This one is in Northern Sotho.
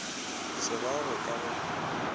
se ba go ka go